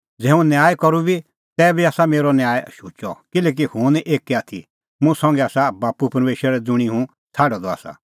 ज़ै हुंह न्याय करूं बी तैबी आसा मेरअ न्याय शुचअ किल्हैकि हुंह निं एक्कै आथी मुंह संघै आसा बाप्पू परमेशर ज़ुंणी हुंह छ़ाडअ द आसा